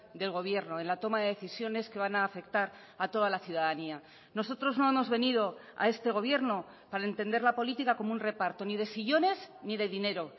del gobierno en la toma de decisiones que van a afectar a toda la ciudadanía nosotros no hemos venido a este gobierno para entender la política como un reparto ni de sillones ni de dinero